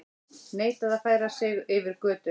Neitaði að færa sig yfir götu